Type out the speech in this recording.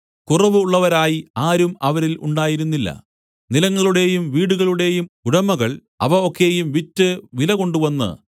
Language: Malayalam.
കുറവ് ഉളളവരായി ആരും അവരിൽ ഉണ്ടായിരുന്നില്ല നിലങ്ങളുടെയും വീടുകളുടെയും ഉടമകൾ അവ ഒക്കെയും വിറ്റ് വില കൊണ്ടുവന്ന്